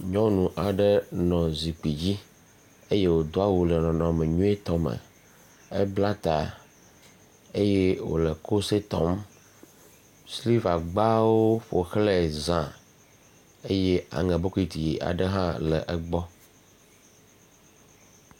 Nyɔnu aɖe nɔ zikpi dzi eye wòdo awu le nɔnɔme nyuietɔ me. Ebla ta eye wòle kose tɔm. Silivagbawo ƒoxlãe zã eye aŋɛ bokiti aɖe hã le egbɔ.